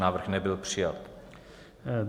Návrh nebyl přijat.